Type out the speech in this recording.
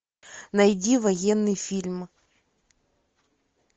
найди военный фильм